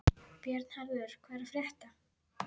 Bjarnharður, hvað er að frétta?